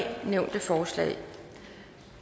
nævnte forslag